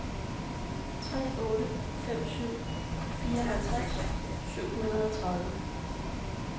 tre otte fem syv fireoghalvtreds syv hundrede og tredive